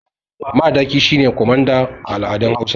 Madaki shi ne kwamanda a al’adun Hausawa.